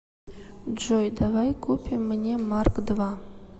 джой давай купим мне марк два